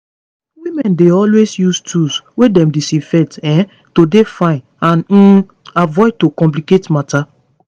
women dey always use tools wey dem disinfect um to dey fine and um avoid to complicate matter